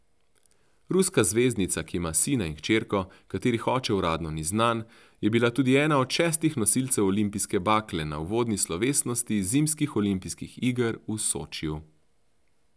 Ruska zvezdnica, ki ima sina in hčerko, katerih oče uradno ni znan, je bila tudi ena od šestih nosilcev olimpijske bakle na uvodni slovesnosti zimskih olimpijskih iger v Sočiju.